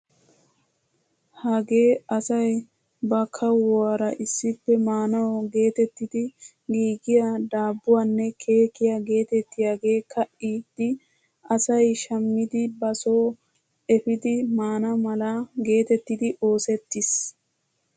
Hagee asay ba kuwaara issippe maanawu geetettidi giigiyaa dabbuwaanne keekkiyaa geetettiyaage ka'idi asay shammidi ba soo epiidi mana mala getettidi oosettiis.